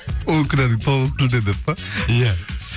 ол күнәнің тоғызы тілден деп пе иә